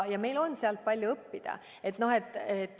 Ja meil on sealt palju õppida.